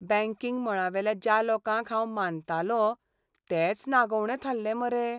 Banking मळावेल्या ज्या लोकांक हांव मानतालों तेच नागोवणे थाल्ले मरे.